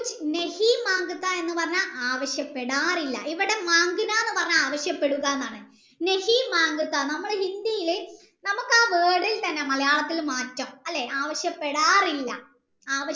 എന്ന്ആ പറഞ്ഞ വിശ്യപ്പെടാറില്ല ഇവിടെ എന്ന് പറഞ്ഞ ആവിശ്യപെടുക എന്നാണ നമ്മുടെ ഹിന്ദിയിൽ നമ്മകാ word ഇത് തന്നെ മാറ്റാം അല്ലെ ആവിശ്യപെടാറില്ല